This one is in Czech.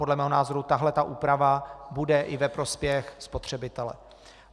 Podle mého názoru tahle ta úprava bude i ve prospěch spotřebitele.